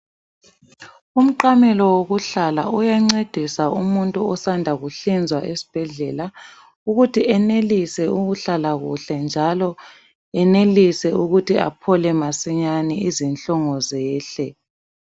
Umqamelo wokuhlala uyancedisa umuntu osanda kuhlinzwa esibhedlela ukuthi enelise ukuhlala kuhle njalo enelise ukuthi aphole masinyane izinhlungu zehle.